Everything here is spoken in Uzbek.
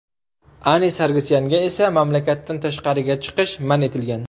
Ani Sargsyanga esa mamlakatdan tashqariga chiqish man etilgan.